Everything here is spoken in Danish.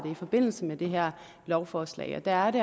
i forbindelse med det her lovforslag og der er det